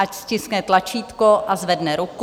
Ať stiskne tlačítko a zvedne ruku.